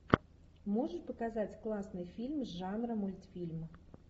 можешь показать классный фильм жанра мультфильм